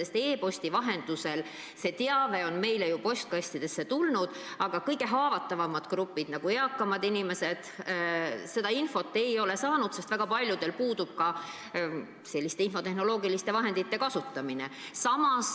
E-posti vahendusel on teave meile ju postkastidesse tulnud, aga kõige haavatavam grupp ehk eakamad inimesed seda infot ei ole saanud, sest väga paljudel selleks vajalikke infotehnoloogilisi vahendeid pole.